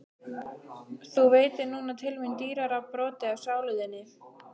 Þú veitir núna til mín dýrara broti af sálu þinni.